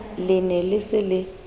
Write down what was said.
le ne le se le